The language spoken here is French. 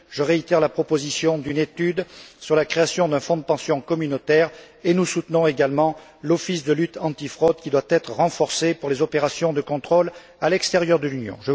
Je réitère la proposition d'une étude sur la création d'un fonds de pension communautaire, et nous soutenons également l'Office de lutte antifraude qui doit être renforcé pour les opérations de contrôle à l'extérieur de l'Union.